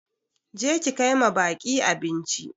Je ki kai ma baƙi abinci!